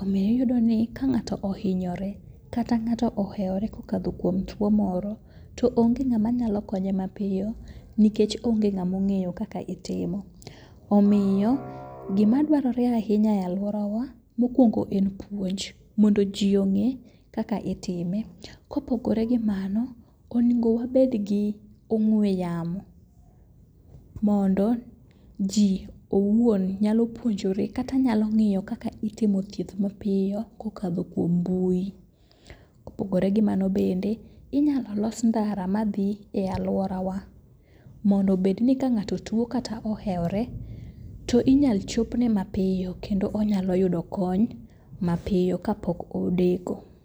omiyo iyudo ni ka ng'ato ohinyore kata ng'ato ohewore kokalo kuom tuo moro, to onge ng'ama nyalo konye mapiyo nikech onge ng'among'eyo kaka itimo. Omiyo gimadwarore ahinya e alworawa mokwongo en puonj mondo ji ong'e kaka itime. Kopogore gi mano, onego wabed gi ong'we yamo mondo ji owuon nyalo puonjore kata nyalo ng'iyo kaka itimo thieth mapiyo kokadho kuom mbui. Kopogore gi mano bende, inyalo los ndara madhi e alworawa mondo obedni ka ng'ato tuo kata ohewore to inyal chopne mapiyo kendo onyalo yudo kony mapiyo kapok odeko.